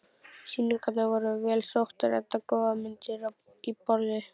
Sýningarnar voru vel sóttar enda góðar myndir í boði.